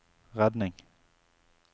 redning